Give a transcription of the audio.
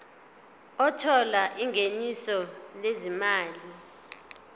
othola ingeniso lezimali